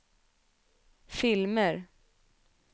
filmer